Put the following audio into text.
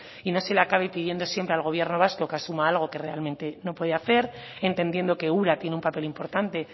y no se le acabe pidiendo siempre al gobierno vasco que asuma algo que realmente no puede hacer entendiendo que ura tiene un papel importante